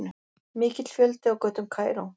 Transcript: Mikill fjöldi á götum Kaíró